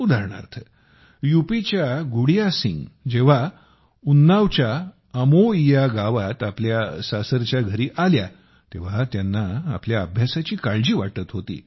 उदाहरणार्थ यूपीच्या गुडिया सिंग जेव्हा उन्नावच्या अमोईया गावात आपल्या सासरच्या घरी आल्या तेव्हा त्यांना आपल्या अभ्यासाची काळजी वाटत होती